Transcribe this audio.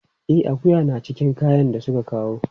E, akuya na cikin kayan da suka kawo.